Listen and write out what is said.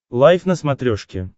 лайф на смотрешке